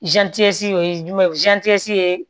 o ye jumɛn ye ye